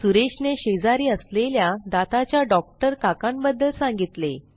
सुरेशने शेजारी असलेल्या दाताच्या डॉक्टर काकांबद्दल सांगितले